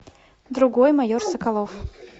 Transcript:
другой майор соколов